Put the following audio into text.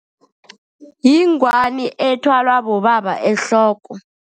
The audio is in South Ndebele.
Yingwani ethwalwa bobaba ehloko.